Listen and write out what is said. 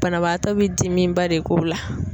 Banabaatɔ be dimiba de k'o la.